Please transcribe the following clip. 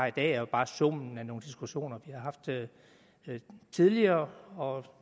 i dag jo bare summen af nogle diskussioner vi har haft tidligere og